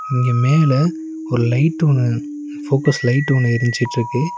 இங்க மேல ஒரு லைட் ஒன்னு ஃபோக்கஸ் லைட் ஒன்னு எரிஞ்சிட்ருக்கு.